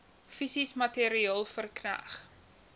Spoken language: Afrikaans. fisies materieel verkneg